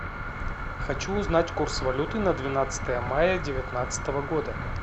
хочу узнать курс валюты на двенадцатое мая девятнадцатого года